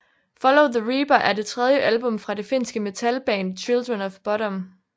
Follow the Reaper er det tredje album fra det finske metalband Children of Bodom